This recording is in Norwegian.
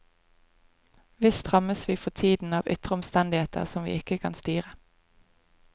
Visst rammes vi for tiden av ytre omstendigheter som vi ikke kan styre.